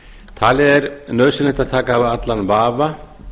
talið er nauðsynlegt að taka af allan vafa